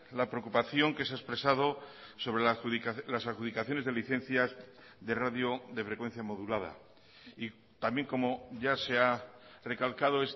la preocupación que se ha expresado sobre las adjudicaciones de licencias de radio de frecuencia modulada y también como ya se ha recalcado